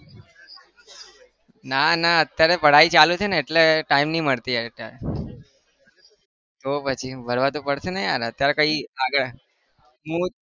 ના ના અત્યારે पढाई ચાલુ છે ને એટલે time નહિ મળતો યાર અત્યારે તો પછી તો પડશે ને યાર અત્યારે કઈ આગળ મુ